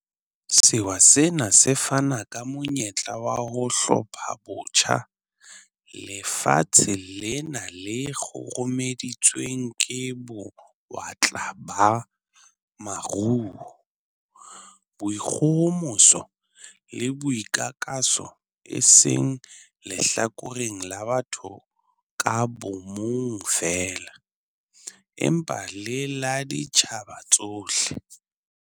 Sewa sena se fana ka monyetla wa ho 'hlophabotjha' lefatshe lena le kgurumeditsweng ke bo-watla ba maruo, boikgohomoso le boikakaso e seng lehlakoreng la batho ka bomong feela, empa le la ditjhaba tsohle.